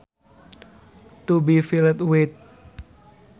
To be filled with